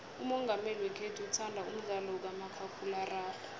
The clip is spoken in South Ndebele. umongameli wekhethu uthanda umdlalo kamakhakhulararhwe